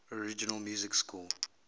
original music score